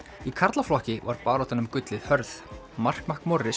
í karlaflokki var baráttan um gullið hörð mark